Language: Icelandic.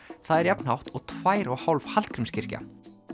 það er jafn hátt og tvær og hálf Hallgrímskirkja